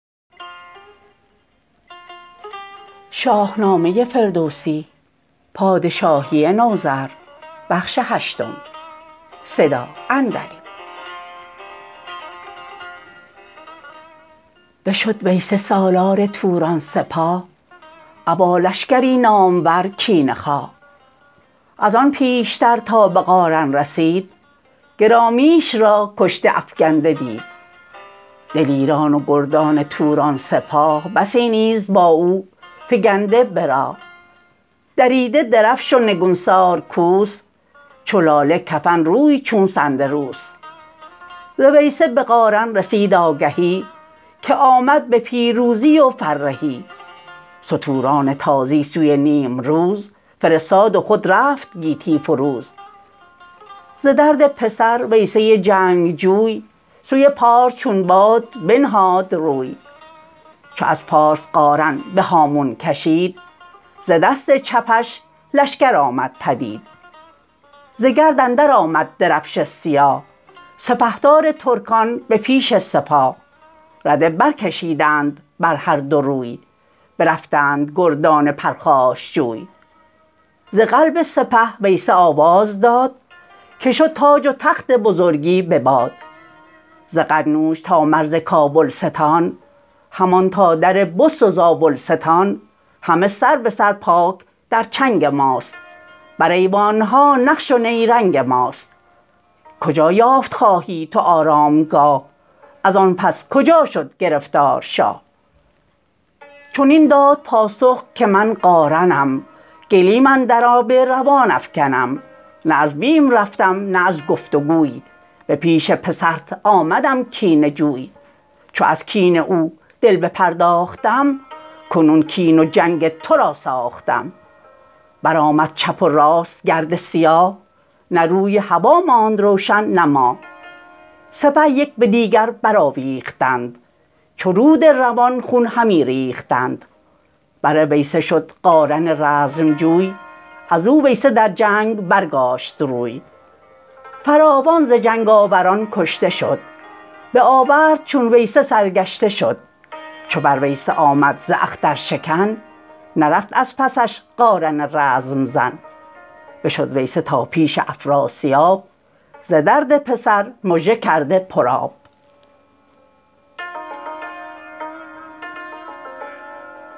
بشد ویسه سالار توران سپاه ابا لشکری نامور کینه خواه ازان پیشتر تابه قارن رسید گرامیش را کشته افگنده دید دلیران و گردان توران سپاه بسی نیز با او فگنده به راه دریده درفش و نگونسار کوس چو لاله کفن روی چون سندروس ز ویسه به قارن رسید آگهی که آمد به پیروزی و فرهی ستوران تازی سوی نیمروز فرستاد و خود رفت گیتی فروز ز درد پسر ویسه جنگجوی سوی پارس چون باد بنهاد روی چو از پارس قارن به هامون کشید ز دست چپش لشکر آمد پدید ز گرد اندر آمد درفش سیاه سپهدار ترکان به پیش سپاه رده برکشیدند بر هر دو روی برفتند گردان پرخاشجوی ز قلب سپه ویسه آواز داد که شد تاج و تخت بزرگی به باد ز قنوج تا مرز کابلستان همان تا در بست و زابلستان همه سر به سر پاک در چنگ ماست بر ایوانها نقش و نیرنگ ماست کجا یافت خواهی تو آرامگاه ازان پس کجا شد گرفتار شاه چنین داد پاسخ که من قارنم گلیم اندر آب روان افگنم نه از بیم رفتم نه از گفت وگوی به پیش پسرت آمدم کینه جوی چو از کین او دل بپرداختم کنون کین و جنگ ترا ساختم برآمد چپ و راست گرد سیاه نه روی هوا ماند روشن نه ماه سپه یک به دیگر برآویختند چو رود روان خون همی ریختند بر ویسه شد قارن رزم جوی ازو ویسه در جنگ برگاشت روی فراوان ز جنگ آوران کشته شد بآورد چون ویسه سرگشته شد چو بر ویسه آمد ز اختر شکن نرفت از پسش قارن رزم زن بشد ویسه تا پیش افراسیاب ز درد پسر مژه کرده پرآب